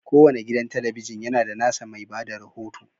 Kowane gidan talabijin yana da nasa mai ba da rahoto.